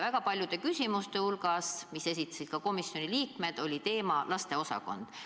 Väga paljud komisjoni liikmete küsimused puudutasid lasteosakonda.